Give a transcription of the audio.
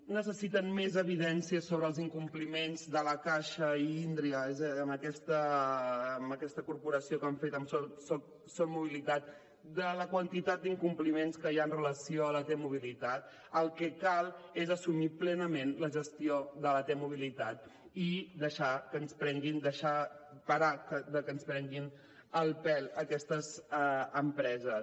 necessiten més evidències sobre els incompliments de la caixa i indra amb aquesta corporació que han fet amb soc mobilitat de la quantitat d’incompliments que hi ha amb relació a la t mobilitat el que cal és assumir plenament la gestió de la t mobilitat i parar de que ens prenguin el pèl aquestes empreses